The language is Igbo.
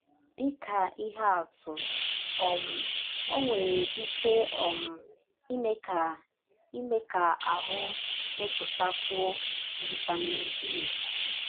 Dị ka ihe atụ um, ọ nwere ike um ime ka ime ka ahụ́ mepụtakwụọ vitamin D.